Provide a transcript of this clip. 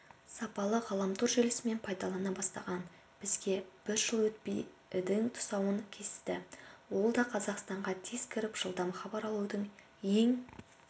сапалы ғаламтор желісімен пайдалана бастаған бізге бір жыл өтпей і-дің тұсауын кесті ол да қазақстанға тез кіріп жылдам хабар алудың ең